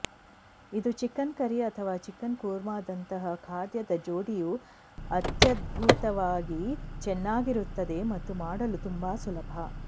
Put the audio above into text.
ಇದು chicken curry ಅಥವಾ chicken ಕುರ್ಮಾದಂತಹ ಖಾದ್ಯದ ಜೋಡಿಯು ಅತ್ಯದ್ಭುತವಾಗಿ ಚೆನ್ನಾಗಿರುತ್ತದೆ ಮತ್ತು ಮಾಡಲು ತುಂಬಾ ಸುಲಭ